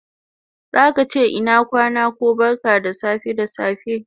Zaka che ina kwana ko barka da safe da safe